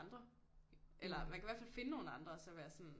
Andre eller man kan i hvert fald finde nogle andre og så være sådan